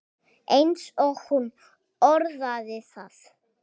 eins og hún orðaði það.